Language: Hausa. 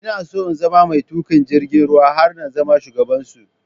Ina so na zama mai tuƙa jirgin ruwa har na zama shugaban su